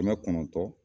Kɛmɛ kɔnɔntɔn